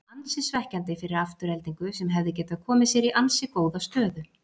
Ansi svekkjandi fyrir Aftureldingu sem hefði getað komið sér í ansi góða stöðu.